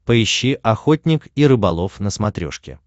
поищи охотник и рыболов на смотрешке